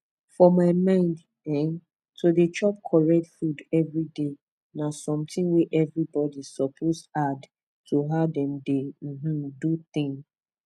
for my mind eh to dey chop correct food every day na something wey everybody suppose add to how dem dey um do thing